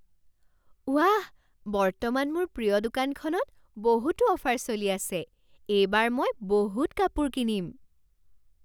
ৱাহ! বৰ্তমান মোৰ প্ৰিয় দোকানখনত বহুতো অফাৰ চলি আছে। এইবাৰ মই বহুত কাপোৰ কিনিম।